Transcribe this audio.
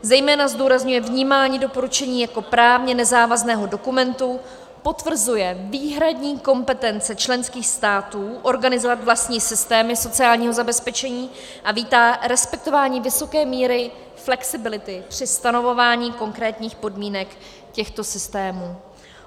Zejména zdůrazňuje vnímání doporučení jako právně nezávazného dokumentu, potvrzuje výhradní kompetence členských států organizovat vlastní systémy sociálního zabezpečení a vítá respektování vysoké míry flexibility při stanovování konkrétních podmínek těchto systémů.